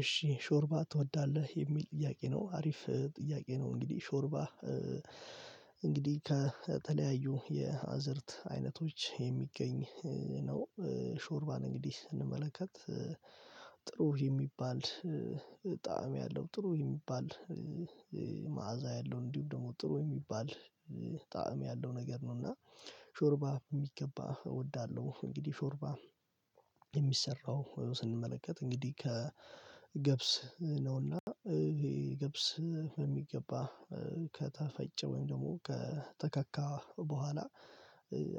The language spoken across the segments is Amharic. እሽ ሾርባ ትወዳለህ የሚል ጥያቄ ነው አሪፍ ጥያቄ ነው እንግዲህ ሾርባ እንግዲህ ከተለያዩ የአዝዕርት አይነቶች የሚገኝ ነው ሾርባን እንግዲህ ስንመለከት ጥሩ የሚባል ጣዕም ያለው ጥሩ የሚባል ማዕዛ ያለው እንዲሁም ጥሩ የሚባል ጣዕም ያለው ነገር ነውና ሾርባ በሚገባ እወዳለሁ እንግዲህ ሾርባ የሚሰራው ስንመለከት እንግዲህ ከገብስ ነው እና ገብስ በሚገባ ከተፈጨ ወይም ደግሞ ከተከካ በኋላ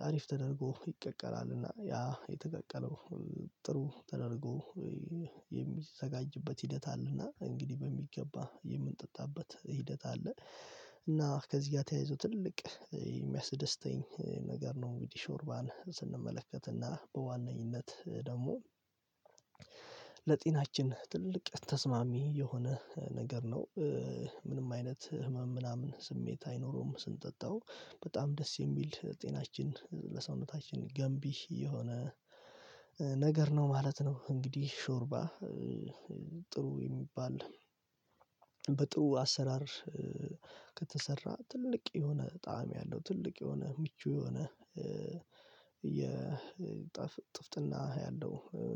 አሪፍ ተደርጎ ይቀቀላል እና ያ የተቀቀለው ጥሩ ተደርግ የሚዘጋጅበት ሂደት አለ እና እንግዲህ በሚገባ የሚጠጣበት ሂደት አለ እና ከዚህ ጋር ተያይዞ ትልቅ የሚያስደስተኝ ነገር ነው እንግዲህ ሾርባን ስንመለከት ና በዋናነኝት ደግሞ ለጤናችን ትልቅ ተስማሚ የሆነ ነገር ነው። ምንም አይነት ህመም ምናምን ስሜት አይኖረውም ስንጠጣው በጣም ደስ የሚል ጤናችን ለሰውነታችን ገንቢ የሆነ ነገር ነው ማለት ነው እንግዲህ ሾርባ ጥሩ የሚባል በጥሩ አሰራር ከተሰራ ትልቅ የሆነ ጣዕም ያለው ትልቅ የሆነ ምቹ የሆነ የጠፍ ጥፍጥና ያለው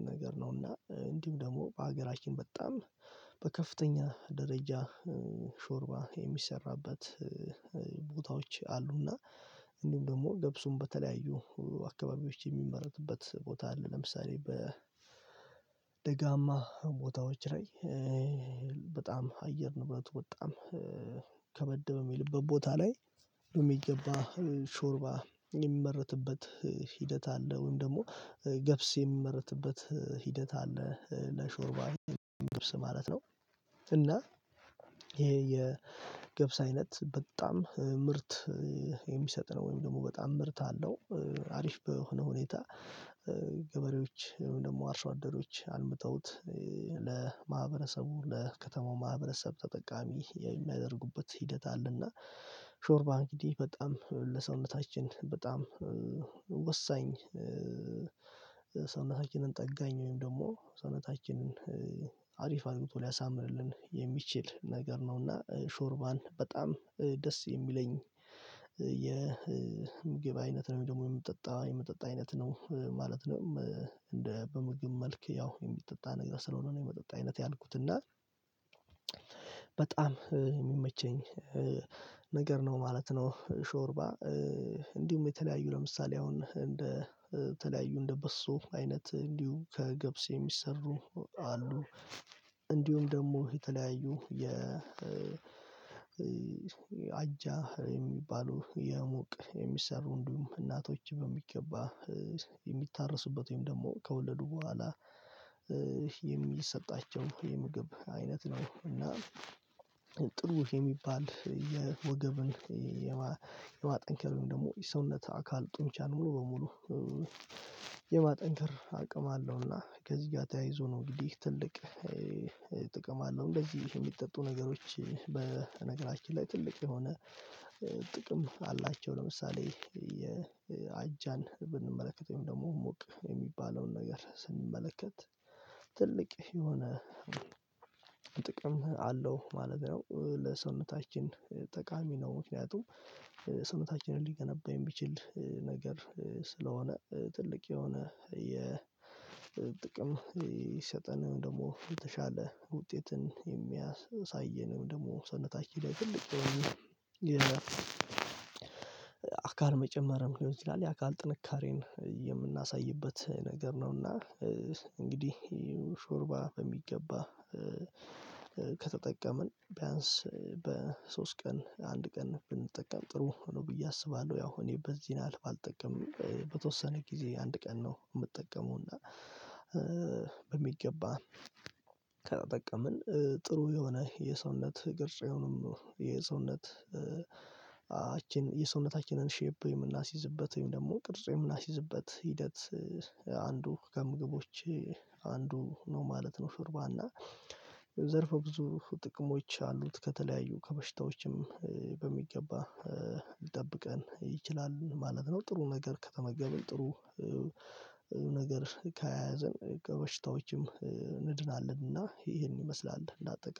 ነገር ነው እና እንዲሁም ደግሞ በሀገራችን በጣም በከፍተኛ ደረጃ ሾርባ የሚሰራበት ቦታዎች አሉ እና እንዲሁም ደግሞ ገብሱም በተለያዩ አካባቢዎች የሚመረትበት ቦታ አለ ለምሳሌ በደጋማ ቦታዎች ላይ በጣም አየር ንብረቱ በጣም ከበድ በሚልበት ቦታ ላይ በሚገባ ሾርባ የሚመረትበት ሂደት አለ ወይም ደግሞ ገብስ የሚመረትበት ሂደት አለ ለሾርባ ማለት ነው እና ይሄ የገብስ አይነት በጣም ምርት የሚሰጥ ነው ወይም በጣም ምርት አለው አሪፍ በሆነ ሁኔታ ገበሬዎች ወይም አርሶ አደሮች አልምተውት ለማህበረሰቡ ለከተማው ማህበረሰብ ተጠቃሚ የሚያደርጉበት ሂደት አለ እና ሾርባ እንግዲህ በጣም ለሰውነታችን በጣም ወሳኝ ሰውነታችንን ጠጋኝ ወይም ደግሞ ሰውነታችንን አሪፍ አልምቶ ሊያሳምርልን የሚችል ነገር ነውና ሾርባን በጣም ደስ የሚለኝ የምግብ አይነት ነው ወይም ደግሞ የሚጠጣ የመጠጥ አይነት ነው ማለት ነው እነደ በምግብ መልክ ያው የሚጠጣ አይነት ስለሆነ ነው የመጠጥ አይነት ያልኩት እና በጣም የሚመቸኝ ምግብ ነው ማለት ነው ሾርባ እንዲሁም የተለያዩ ለምሳሌ አሁን በተለያዩ እንደ በሶ አይነት እንዲሁም ከገብስ የሚሰሩ አሉ እንዲሁም ደግሞ የተለያዩ የ አጃ የሚባሉ የሙቅ የሚሰሩ እንዲሁ እናቶች በሚገባ የሚታረሱበት ወይም ደግሞ ከወለዱ በኋላ የሚሰጣቸው የምግብ አይነት ነው እና የምግብ አይነት ነው ወይም ደግሞ የሚጠጣ የመጠጥ አይነት ነው ማለት ነው እንደ ምግብ መልክ ያው የሚጠጣ ነገር ስለሆነ ነው የመጠጥ አይነት ያልኩት እና ጥቅም አላቸው ለምሳሌ የአጃን ብንመለከት ወይም ደግሞ ሙቅ የሚባለውን ነገር ስንመለከት ትልቅ የሆነ ጥቅም አለው ማለት ነው ለሰውነታችን ጠቃሚ ነው ምክንያቱም ሰውነታችን ሊገነባ የሚችል ነገር ስለሆነ ትልቅ የሆነ የ ጥቅም ሊሰጠን ወይም ደግሞ የተሻለ ውጤትን የሚያሳየነ ወይም ደግሞ ሰውነታችን ላይ አካል መጨመርም ሊሆን ይችላል የአካል ጥንካሬን የምናሳይበት መንገድ ነው እና እንግዲህ ሾርባ በሚገባ ከተጠቀምን ቢያንስ በሶስት ቀን አንድ ቀን ብንጠቀም ጥሩ ነው ብየ አስባለው ያው እኔ በዚህ ያህል ባልጠቀምም እኔ ከተወሰነ ጊዜ አንድ ቀን ነው ምጠቀመው እና በሚገባ ከተጠቀምን ጥሩ የሆነ የሰውነት ቅርጽ ነው ሚኖረው የሰውነት አ የሰውነታችን ሸፕ የምናስይዝበት ወይም ደግሞ ቅርጽ የምናስይዝበት ሂደት አ አንዱ ከምግቦች አንዱ ነው ማለት ነው ሾርባ እና ዘርፈ ብዙ ጥቅሞች አሉት ከተለያዩ ከበሽታዎችም በሚገባ ሊጠብቀን ይችላል ማለት ነው ጥሩ ነገር ከተመገብን ጥሩ ነገር ከያዘን ከበሽታዎች እንድናለን እና ይሄን ይመስላል እና አጠቃላይ